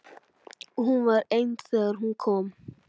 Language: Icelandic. Og hún var ein þegar hún kom.